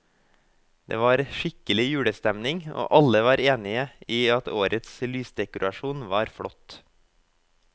Det var skikkelig julestemning, og alle var enige i at årets lysdekorasjon var flott.